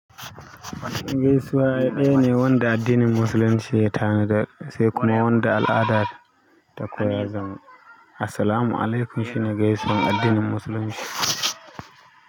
Gaisuwa ɗaya ne wanda addinin musulunci ya tanada, sai kuma wanda al'adar ta koya. Zan-- "Assalamu alaikum" shine gaisuwan addinin musulunci.